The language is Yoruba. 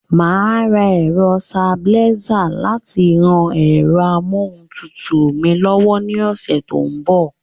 Màá ra ẹ̀rọsitabilísà láti ran ẹ̀rọ amóhuntutù mi lọ́wọ́ ní ọ̀sẹ̀ tó ń bọ̀.